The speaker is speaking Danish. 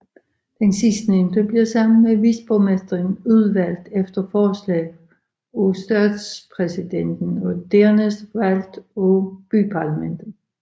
Den sidstnævnte bliver sammen med viceborgmesteren udvalgt efter forslag af statspræsidenten og dernæst valgt af byparlamentet